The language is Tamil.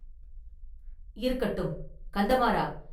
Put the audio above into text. இருக்கட்டும், கந்தமாறா!